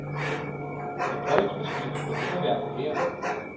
En pålægsmaskine gør underværker her.